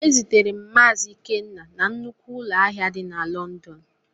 E zutere m Mazi Ikenna na nnukwu ụlọ ahịa di na Lọndọn.